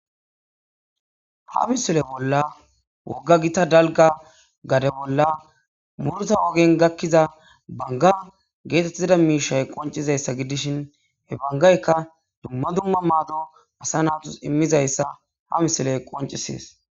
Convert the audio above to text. Ha misile bolla woga gita dalga gade bolla murta wogen gakkiza banga geetettida miishay qoncizayssa gidishin he bangaykka dumma dumma maado asa natus immizayssa ha misiley qoncisees.